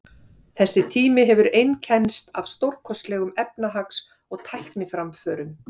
þessi tími hefur einkennst af stórkostlegum efnahags og tækniframförum